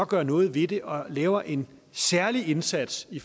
gøre noget ved det og lave en særlig indsats i